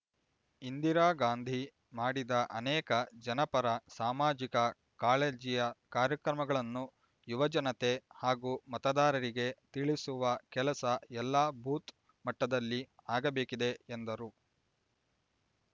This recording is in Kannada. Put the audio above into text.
ಇಂದಿರಾಗಾಂಧಿ ಮಾಡಿದ ಅನೇಕ ಜನಪರ ಸಾಮಾಜಿಕ ಕಾಳಜಿಯ ಕಾರ್ಯಕ್ರಮಗಳನ್ನು ಯುವಜನತೆ ಹಾಗೂ ಮತದಾರರಿಗೆ ತಿಳಿಸುವ ಕೆಲಸ ಎಲ್ಲಾ ಬೂತ್ ಮಟ್ಟದಲ್ಲಿ ಆಗಬೇಕಿದೆ ಎಂದರು